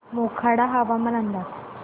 मोखाडा हवामान अंदाज